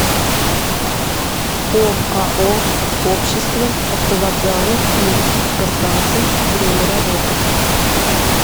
оао общество автовокзалов и автостанций время работы